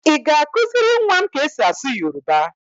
Ị ga-akụziri nwa m ka e si asụ Yoroba?